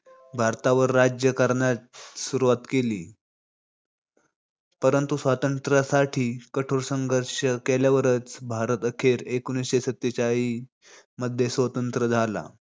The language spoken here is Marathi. भारतावर राज्य करण्यास सुरुवात केली. परंतु स्वातंत्र्यासाठी कठोर संघर्ष केल्यावरच भारत अखेर एकोणीशी सत्तेचाळीसमध्ये स्वतंत्र झाला.